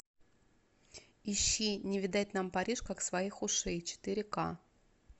ищи не видать нам париж как своих ушей четыре к